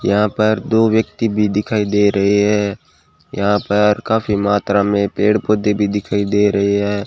यहां पर दो व्यक्ति भी दिखाई दे रहे है यहां पर काफी मात्रा में पेड़ पौधे भी दिखाई दे रहे है।